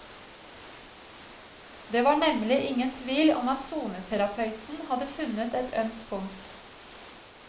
Det var nemlig ingen tvil om at soneterapeuten hadde funnet et ømt punkt.